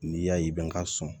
N'i y'a ye bɛ n ka sɔn